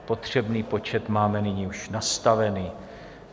Potřebný počet máme nyní už nastavený.